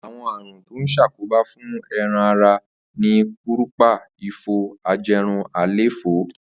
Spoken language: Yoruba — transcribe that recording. Àwo̩n àrùn tó ń s̩àkóbá fún e̩ran ara ni kúrùpa, ifo, aje̩run, àléfó̩